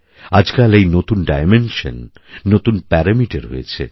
আজকাল এই নতুন ডাইমেনশন নতুন প্যারামিটার হয়েছে